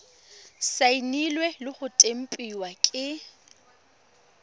saenilwe le go tempiwa ke